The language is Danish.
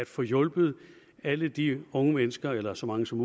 få hjulpet alle de unge mennesker eller så mange som